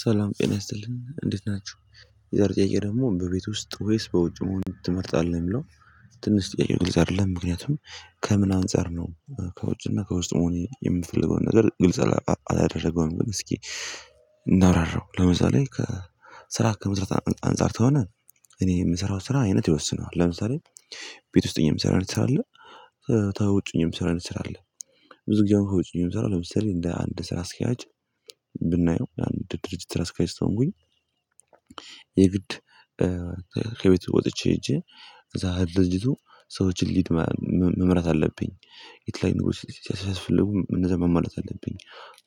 ሰላም ጤና ይስጥልኝ እንዴት ናችሁ የዛሬ ጥያቄ ደግሞ በቤት ውስጥ ወይስ በውጭ መሆን ትመርጣለህ የሚለው? ትንሽ ጥያቄው ግልጽ አይደለም ምክንያቱም ከምን አንፃር ነው። ከውጭና ከውስጥ መሆን የምፈልገውን ነገር ግልጽ አላደረገውም ግን እስኪ እናብራራው ለምሳሌ ከ ስራ ከመስራት አንፃር ተሆነ። እኔ የምሰራው ስራ አይነት ይወስነዋል ለምሳሌ። ቤት ውስጥ እኔ የምሰራውን ትሰራለህ ታውጡኝ የምሰራውን የምሰራው ብዙ ጊዜ አሁን ታውጩኝ የምሰራው ለምሳሌ እንደ አንድ ስራ አስኪያጅ። ብናየው ለአንድ ድርጅት ስራ አስኪያጅ። የግድ ከቤት ወጥቼ ሄጄ እዛ ድርጅቱ ሰዎችን ለድ መምራት አለብኝ። የተለያዩ ነገሮች ሲያስፈልጉ እነዛን ማሟላት አለብኝ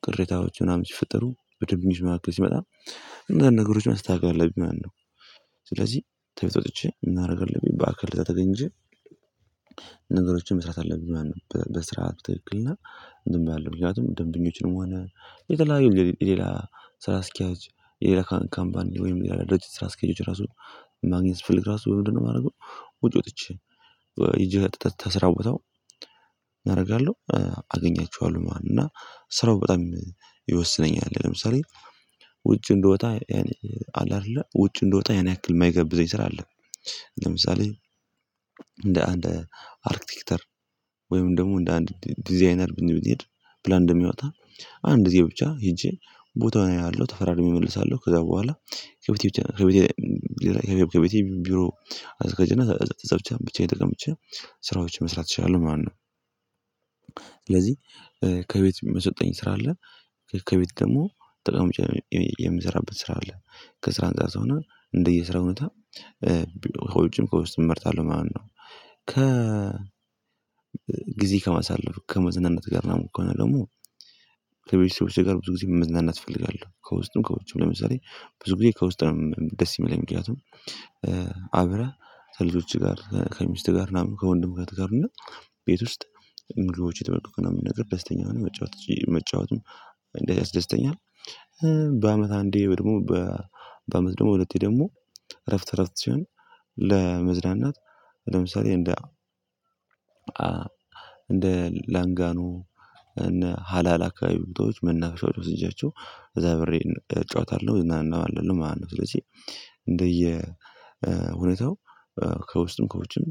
ቅሬታዎች ምናምን ሲፈጠሩ በደንበኞች መካከል ሲመጣ። እንዛን ነገሮች ማስተካከል አለብኝ። ማነው ስለዚህ ከቤት ወጥቼ እምን አደርጋለሁኝ ባክል እዛ ተገኝቼ። ነገሮችን መስራት አለብኝ። ማን በስርዓት በትክክል እና ዝም ብዬ አላለም ምክንያቱም ደንበኞችንም ሆነ የተለያዩ ሌላ ስራ አስኪያጅ የሌላ ካምፓኒ ወይም የሌላ ድርጅት ስራ አስኪያጆች ራሱ ማግኘት ፍልክ ራሱ ምንድነው የማደርገው? ውጪ ወጥቼ ሂጀ ተስራ ቦታው እናደርጋለሁ። አገኛቸዋለሁ ማለት ነው እና ስራው በጣም ይወስነኛል። ለምሳሌ ውጭ እንደወጣ አይደለ ውጭ እንደወጣ ያን ያክል የማይገብዘኝ ስራ አለ። ለምሳሌ እንደ አንድ አርክቲክተር ወይም ደግሞ እንደ አንድ ዲዛይነር ብንሄድ ብላ እንደሚያወጣ አንድ እዚህ ብቻ ሄጄ ቦታውን አየሃለሁ ተፈራርሜ እመልሳለሁ ከዛ በኋላ። ከቤቴ ብቻ ከቤቴ ከቤቴ ከቤቴ ቢሮ አዘጋጅና አዘጋጅና እዝ ብቻየን ተቀመጨ ስራዎች መስራት እችላለሁ። ማነው ስለዚህ ከቤት የምትሰጠኝ ስራ አለ። ከቤት ደግሞ ጠቃሚ የምሰራበት ስራ አለ። ከስራ አንፃር ሰውና እንደየስራ እውነት ቢሮ ከውጭም ከውስጥም እመርታለሁ ማነው። ከ ጊዜ ከማሳለፍ ከመዝናናት ጋር ነው። ከሆነ ደግሞ ከቤተሰቦቼ ጋር ብዙ ጊዜ መዝናናት እፈልጋለሁ። ከውስጥም ከውስጥም ለምሳሌ ብዙ ጊዜ ከውስጥም ደስ ይመለኝ ምክንያቱም። አብረህ ከልጆችህ ጋር ከሚስትህ ጋር ምናምን ከወንድም ጋር ትቀርና ቤት ውስጥ ምግቦች እየተመገብክ ምንም ነገር ደስተኛ መጫወቱም እንደዚህ ያስደስተኛ። በአመት አንዴ ደግሞ በአመት ደግሞ ሁለቴ ደግሞ እረፍት እረፍት ሲሆን። ለመዝናናት ለምሳሌ እንደ እንደ ላንጋኖ እነ ሀላል አካባቢ ቡድኖች መናፍሻዎች ወስጃቸው እዛ አብሬን እጫወታለሁ እዝናናለሁ ማለት ነው። ስለዚህ እንደየ እውነታው ከውስጥም ከውጭም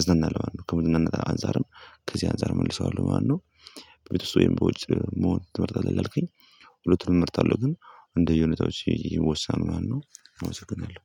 እዝናናለሁ ከመዝናናት አንፃርም ከዚህ አንፃር መልሰዋለሁ ማለት ነው። በቤተሰብ ወይም በውጭ መሆን ትመርጣለህ አልከኝ? ሁለቱንም እመርጣለሁ ግን እንደየሁነታው ይዤ ወሳኑ ማነው አወሰናለሁ